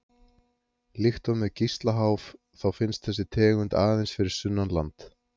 Líkt og með Gíslaháf þá finnst þessi tegund aðeins fyrir sunnan land.